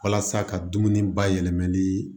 Walasa ka dumuni bayɛlɛmali